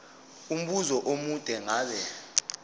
umbuzo omude ngabe